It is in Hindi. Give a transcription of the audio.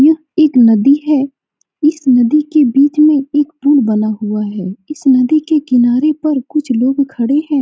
यह एक नदी है इस नदी के बीच में एक पुल बना हुआ है इस नदी के किनारे पर कुछ लोग खड़े हैं ।